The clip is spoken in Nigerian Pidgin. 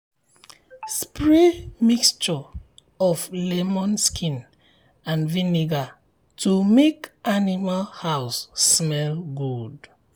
spray mixture of um lemon skin and vinegar to make um animal house smell good.